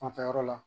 Fanfɛla yɔrɔ la